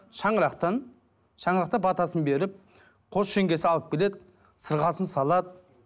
шаңырақтан шаңырақта батасын беріп қос жеңгесі алып келеді сырғасын салады